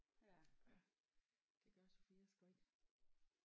Ja det gør Sophia sgu ikke